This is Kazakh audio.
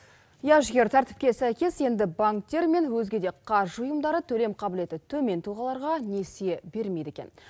иә жігер тәртіпке сәйкес енді банктер мен өзге де қаржы ұйымдары төлем қабілеті төмен тұлғаларға несие берілмейді екен